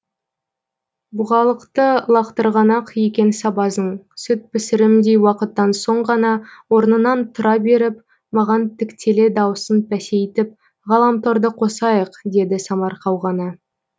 бұғалықты лақтырған ақ екен сабазың сүт пісірімдей уақыттан соң ғана орнынан тұра беріп маған тіктеле даусын пәсейтіп ғаламторды қосайық деді самарқау ғана